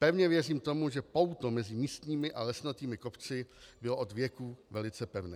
Pevně věřím tomu, že pouto mezi místními a lesnatými kopci bylo od věků velice pevné.